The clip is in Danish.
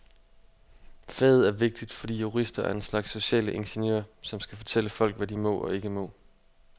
Faget er vigtigt, fordi jurister er en slags sociale ingeniører, som skal fortælle folk, hvad de må og ikke må.